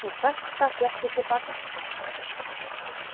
Og þetta fékk ég til baka.